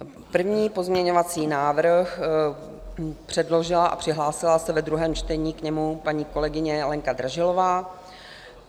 První pozměňovací návrh předložila a přihlásila se ve druhém čtení k němu paní kolegyně Lenka Dražilová.